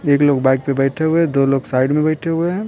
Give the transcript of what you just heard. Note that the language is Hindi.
एक लोग बाइक पे बैठे हुए हैं दो लोग साइड में बैठे हुए हैं।